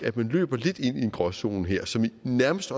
at man løber lidt ind i en gråzone her som nærmest